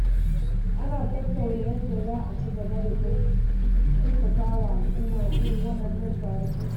Ana tattauna yadda za a ci gaba da kyautata al’umma a irin waɗannan taruka.